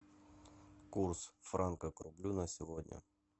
курс франка к рублю на сегодня